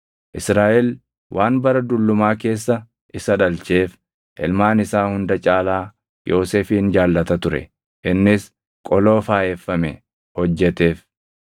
Israaʼel waan bara dullumaa keessa isa dhalcheef ilmaan isaa hunda caalaa Yoosefin jaallata ture; innis qoloo faayeffame hojjeteef.